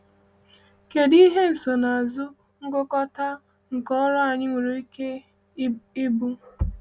Kèdụ ihe nsonaazụ ngụkọta nke ọrụ anyị nwere ike ịbụ?